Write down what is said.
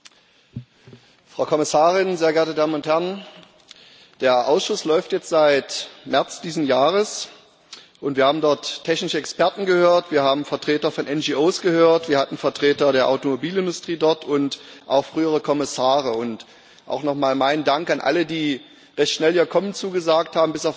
Herr Präsident, Frau Kommissarin, sehr geehrte Damen und Herren! Der Ausschuss läuft jetzt seit März diesen Jahres, und wir haben dort technische Experten gehört, wir haben Vertreter von NGO gehört, wir hatten Vertreter der Automobilindustrie dort und auch frühere Kommissare und auch nochmal mein Dank an alle, die recht schnell ihr Kommen zugesagt haben.